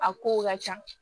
A kow ka ca